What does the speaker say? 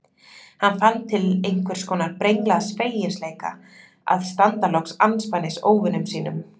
Hann fann til einhvers konar brenglaðs feginleika að standa loks andspænis óvinum sínum.